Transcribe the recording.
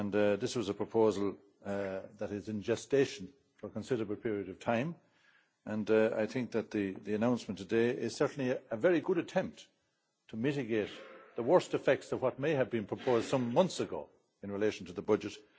This was a proposal that has been in gestation for a considerable period of time and I think that the announcement today is certainly a very good attempt to mitigate the worst effects of what may have been proposed some months ago in relation to the budget.